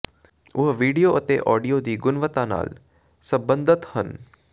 ਉਹ ਵੀਡੀਓ ਅਤੇ ਆਡੀਓ ਦੀ ਗੁਣਵੱਤਾ ਨਾਲ ਸਬੰਧਤ ਹਨ